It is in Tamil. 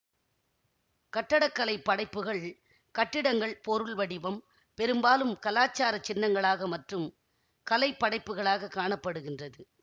கட்டடக்கலை படைப்புகள் கட்டிடங்கள் பொருள் வடிவம் பெரும்பாலும் கலாச்சார சின்னங்களாக மற்றும் கலை படைப்புகளாக காண படுகின்றது